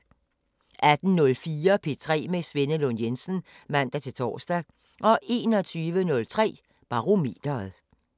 18:04: P3 med Svenne Lund Jensen (man-tor) 21:03: Barometeret